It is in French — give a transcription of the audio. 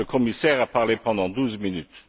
Le commissaire a parlé pendant douze minutes.